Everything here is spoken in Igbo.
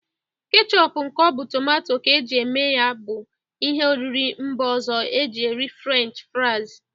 Kechop nke ọ bụ tomato ka e ji eme ya bụ ihe oriri mba ọzọ e ji eri french fraiz.